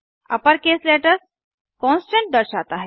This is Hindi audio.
अपर केस लेटर्स कांस्टेंट दर्शाता है